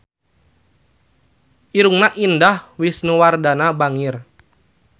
Irungna Indah Wisnuwardana bangir